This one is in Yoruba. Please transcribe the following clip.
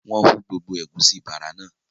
wọ́n hú gbogbo “ ẹ̀gúsí bààrà" náà